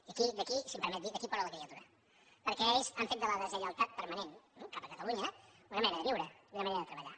i d’aquí si em permet dir li d’aquí plora la criatura perquè ells han fet de la deslleialtat permanent eh cap a catalunya una manera de viure i una manera de treballar